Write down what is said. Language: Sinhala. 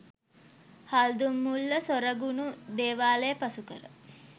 හල්දුම්මුල්ල සොරගුණු දේවාලය පසුකර